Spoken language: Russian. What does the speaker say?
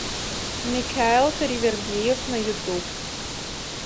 микаэл таривердиев на ютуб